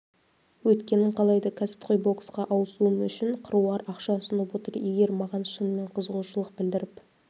өткенін қалайды кәсіпқой боксқа ауысуым үшін қыруар ақша ұсынып отыр егер маған шынымен қызығушылық білдіріп